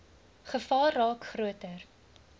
gevaar raak groter